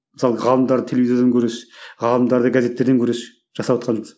мысалы ғалымдарды телевизордан көресіз ғалымдарды газеттерден көресіз жасаватқаныңыз